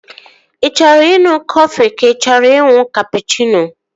Ị chọrọ ịṅụ kọfị ka ị chọrọ ịṅụ kapụchịno?